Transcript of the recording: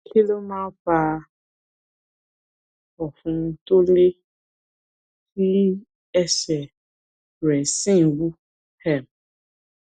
kí ló máa ń fa ọ̀fun tó lé tí ẹsẹ̀ rẹ̀ sì ń wú um